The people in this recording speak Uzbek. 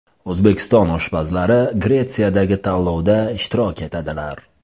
O‘zbekiston oshpazlari Gretsiyadagi tanlovda ishtirok etadilar.